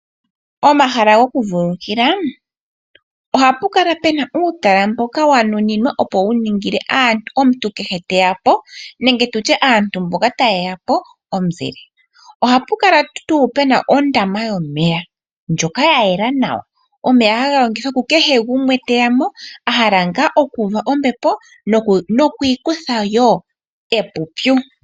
Omahala goku vululukila ohapu kala puna uutalala mboka wa nuninwa opo wu ningile omuntu kehe teya po nenge aantu mboka taye ya po omuzile, ohapu kala tu puna ondama yomeya ndjoka ya yela nawa omeya haga yogithwa ku kehe gumwe teya mo ahala nga oku uva ombepo noku ikuthawo epupyu.